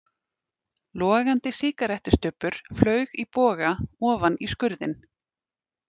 Logandi sígarettustubbur flaug í boga ofan í skurðinn.